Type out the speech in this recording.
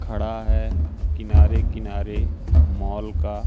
खड़ा है किनारे किनारे मॉल का--